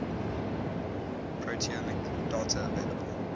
proteomic data available